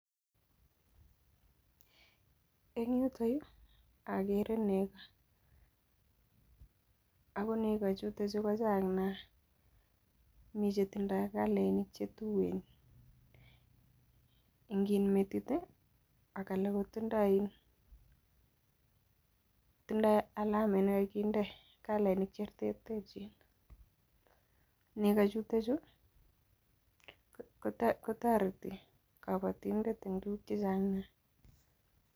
En yutok yuu okere neko ako neko chuton chuu ko Chang nia mii chetinye kalainik chetuen en metit tii ak alak kotindo in tindo alameanet nekokinde kalainik chereterechin. Nechuton chuu kotoreti koboyundet en tukuk chechang nia.